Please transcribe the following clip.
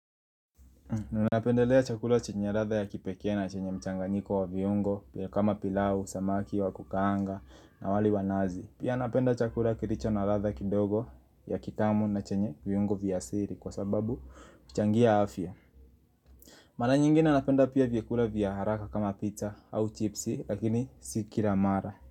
Ninapendelea chakula chenye ladha ya kipekee na chenye mchanganyiko wa viungo kama pilau, samaki, wakukaanga na wali wanazi Pia napenda chakula kilicho na ladha kidogo ya kitamu na chenye viungo vya asili kwa sababu huchangia afya Mara nyingine napenda pia vyakula vya haraka kama pizza au chipsi lakini si kila mara.